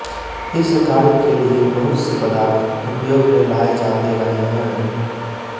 इस कार्य के लिये बहुत से पदार्थ उपयोग में लाये जाते रहे हैंम